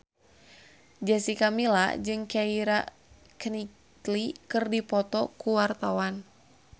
Jessica Milla jeung Keira Knightley keur dipoto ku wartawan